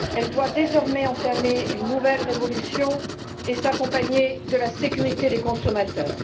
Elle doit désormais entamer une nouvelle révolution et s'accompagner de la sécurité des consommateurs.